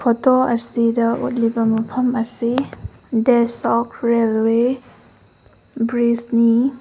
Photo ꯑꯁꯤꯗ ꯎꯠꯂꯤꯕ ꯃꯐꯝ ꯑꯁꯤ ꯔꯦꯜꯋꯦ ꯕ꯭ꯔꯤꯖ ꯅꯤ꯫